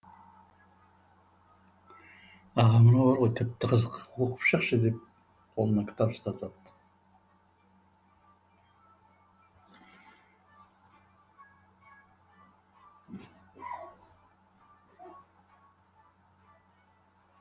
аға мынау бар ғой тіпті қызық оқып шықшы деп қолына кітап ұстатады